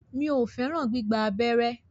Mi o fẹràn gbígba abẹ́rẹ́.